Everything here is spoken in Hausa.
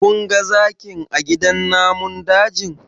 Kun ga zakin a gidan namun dajin?